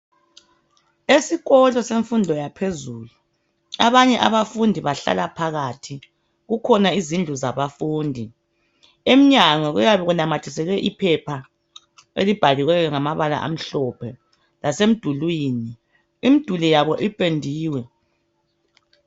Esikolo semfundo yaphezulu abanye abafundi bahlala phakathi kukhona izindlu zabafundi emnyango kuyabe kunamathiselwe iphepha elibhaliweyo ngamabala amhlophe lasemdulini imduli yabo ipendiwe